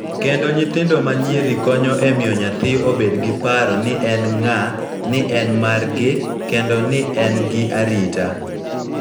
Kendo nyithindo ma nyiri konyo e miyo nyathi obed gi paro ni en ng�a, ni en margi, kendo ni en gi arita,